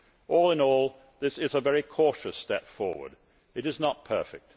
All in all, this is a very cautious step forward. It is not perfect.